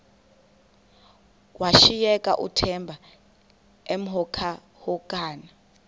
washiyeka uthemba emhokamhokana